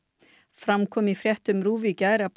fram kom í fréttum RÚV í gær að